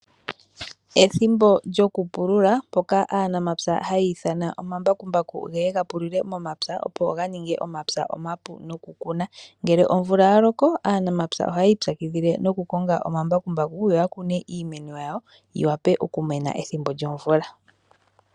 Ethimbo lyoku pulula mpoka aanamapya haya ithana omambakumbaku geye ga pulule momapya, opo ga ninga omapya oma pu noku kuna. Ngele omvula ya loko aanamapya ohaya ipyakidhile noku konga omambakumbaku, yo ya kune iimeno yawo, yi wape oku mena ethimbo lyomvula.